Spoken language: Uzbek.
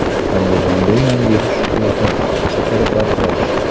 Andijonda Yangi yil shukuhi (fotoreportaj).